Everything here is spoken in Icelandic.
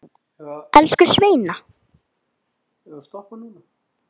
Elsku Sveina.